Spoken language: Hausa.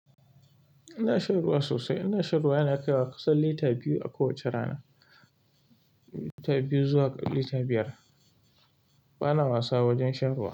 Ina shan ruwa sosai. Ina shan ruwa yana kaiwa kusan lita biyu a kowace rana, lita biyu zuwa lita biyar. Bana wasa wajen shan ruwa.